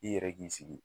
I yɛrɛ k'i sigi